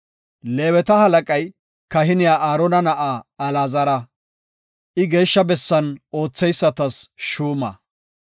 Leeweta halaqay kahiniya Aarona na7aa Alaazara. I Geeshsha Bessan ootheysatas shuuma.